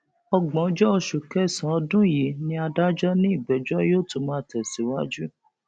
ọgbọnjọ oṣù kẹsànán ọdún yìí ni adájọ ní ìgbẹjọ yóò tún máa tẹsíwájú